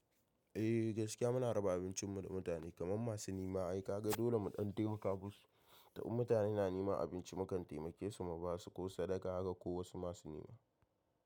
Eh gaskiya muna raba abincin mu da mutane kamar masu nema. Ai ka ga dole mu ɗan taimaka masu. In mutane na nema abinci mukan taimake su mu ba su ko sadaka haka ko wasu masu nema.